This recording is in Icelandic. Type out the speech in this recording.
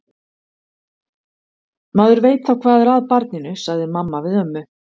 Maður veit þá hvað er að barninu, sagði mamma við ömmu.